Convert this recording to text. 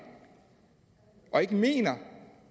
og ikke mener